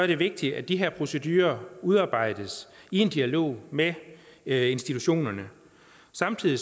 det vigtigt at de her procedurer udarbejdes i en dialog med institutionerne samtidig